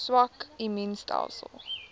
swak immuun stelsels